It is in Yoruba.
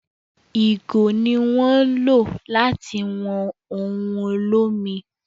ìgò ni wón lo lati wọn òun olomi